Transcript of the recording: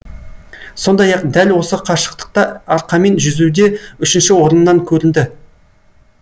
сондай ақ дәл осы қашықтықта арқамен жүзуде үшінші орыннан көрінді